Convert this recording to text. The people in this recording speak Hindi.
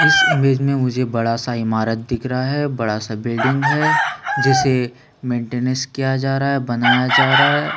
इस इमेज में मुझे बड़ा-सा ईमारत दिख रहा है बड़ा-सा बिल्डिंग है जिसे मेंटेनेंस किया जा रहा है बनाया जा रहा है।